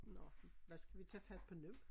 Nå hvad skal vi tage fat på nu?